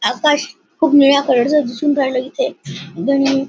आकाश खुप निळ्या कलर च दिसून राहील इथे दण--